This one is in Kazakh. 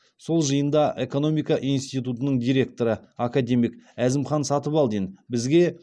тіл мамандарына қаратып балаларымыздан бастап бәріміз шет тілдерінен енген сөздердің мағынасын іздегенде қазақша